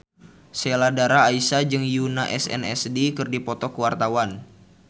Sheila Dara Aisha jeung Yoona SNSD keur dipoto ku wartawan